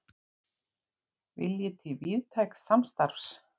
Vilji til víðtæks samstarfs